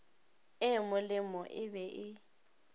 e molemo e be e